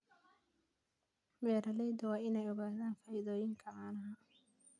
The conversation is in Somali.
Beeraleydu waa inay ogaadaan faa'iidooyinka caanaha.